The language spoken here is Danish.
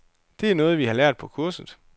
Det er noget, vi har lært på kurset.